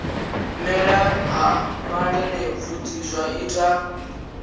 mela ha malelebvudzi zwa ita